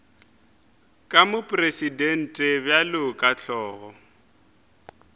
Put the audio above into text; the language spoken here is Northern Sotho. ke mopresidente bjalo ka hlogo